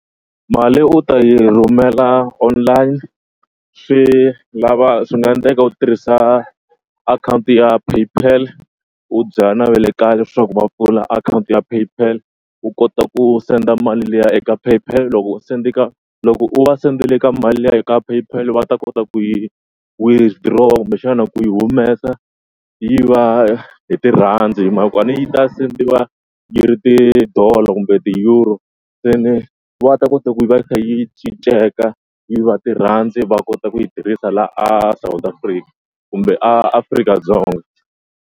Mali u ta yi rhumela online swi lava swi nga endleka u tirhisa akhawunti ya PayPal u byela na va le kaya leswaku va pfula akhawunti ya PayPal u kota ku senda mali liya eka PayPal loko u sende ka loko u va sendele ka mali liya ka PayPal va ta kota ku yi withdraw-a kumbexana ku yi humesa yi va hi tirandi hi mhaka ku a ni yi ta send-iwa yi ri ti-dollar kumbe ti-euro seni va ta kota ku yi va yi kha yi cinceke yi va tirandi va kota ku yi tirhisa laha a South Africa kumbe a Afrika-Dzonga.